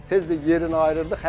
Tez də yerini ayırırdıq.